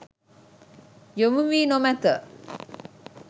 යොමු වී නොමැත.